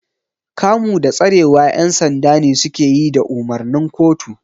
Kamu da tsarewa ƴan sanda ne suke yi da umarnin kotu.